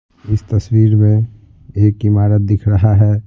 इस तस्वीर में एक इमारत दिख रहा है।